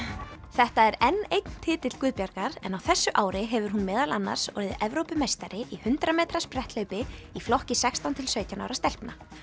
þetta er enn einn titill en á þessu ári hefur hún meðal annars orðið Evrópumeistari í hundrað metra spretthlaupi í flokki sextán til sautján ára stelpna